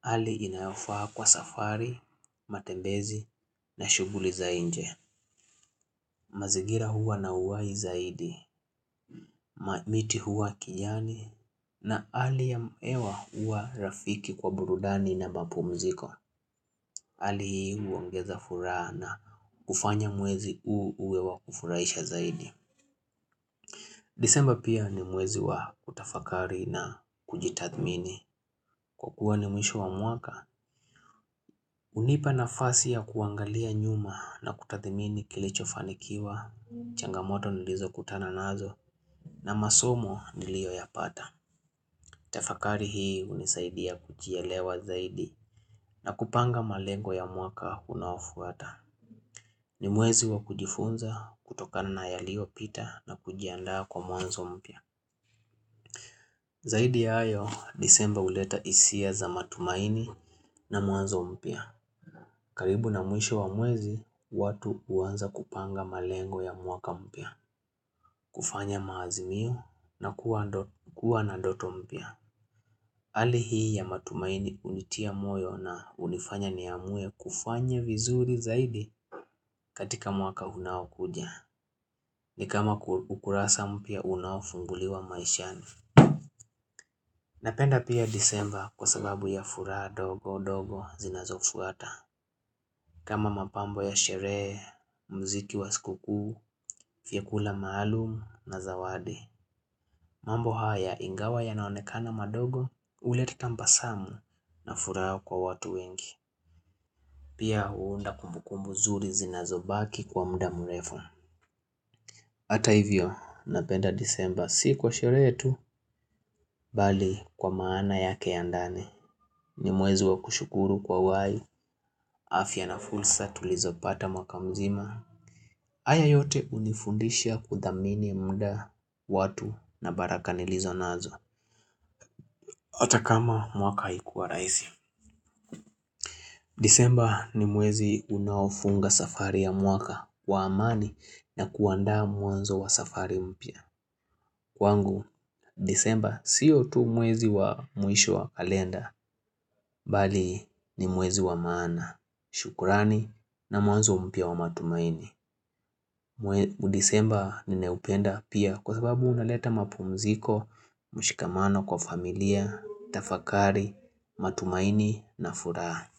Hali inayofaa kwa safari, matembezi na shughuli za nje. Mazingira huwa na uhai zaidi, miti huwa ya kijani, na hali ya hewa huwa rafiki kwa burudani na mapumziko. Hali hii huongeza furaha na kufanya mwezi uwe wa kufurahisha zaidi. Desemba pia ni mwezi wa kutafakari na kujitathmini. Kwa kuwa ni mwisho wa mwaka, hunipa nafasi ya kuangalia nyuma na kutathmini kilichofanikiwa, changamoto nilizokutana nazo. Na masomo niliyoyapata Tafakari hii hunisaidia kujielewa zaidi na kupanga malengo ya mwaka unaofuata. Ni mwezi wa kujifunza kutokana na yaliyopita na kujiandaa kwa mwanzo mpya. Zaidi ya hayo, Desemba huleta hisia za matumaini na mwanzo mpya. Karibu na mwisho wa mwezi, watu huanza kupanga malengo ya mwaka mpya. Kufanya maazimio na kuwa na ndoto mpya. Hali hii ya matumaini hunitia moyo na kunifanya niamue kufanya vizuri zaidi katika mwaka unaokuja. Ni kama ukurasa mpya unafunguliwa maishani. Napenda pia Desemba kwa sababu ya furaha ndogo ndogo zinazofuata. Kama mapambo ya sherehe, muziki wa sikukuu, vyakula maalumu na zawadi. Mambo haya, ingawa yanaonekana madogo, huleta tabasamu na furaha kwa watu wengi. Pia huunda kumbukumbu nzuri zinazobaki kwa muda mrefu. Hata hivyo, napenda Desemba si kwa sherehe tu, bali kwa maana yake ya ndani ni mwezi wa kushukuru kwa uhai, afya na fursa tulizopata mwaka mzima. Haya yote hunifundisha kuthamini muda, watu na baraka nilizo nazo. Hata kama mwaka haikuwa rahisi. Desemba ni mwezi unaofunga safari ya mwaka wa amani na kuandaa mwanzo wa safari mpya. Kwangu, Desemba si tu mwezi wa mwisho wa kalenda, bali ni mwezi wa maana. Shukurani na mwanzo mpia wa matumaini. Desemba ninaupenda pia kwa sababu huleta mapumziko, mshikamano wa familia, tafakari, matumaini na furaha.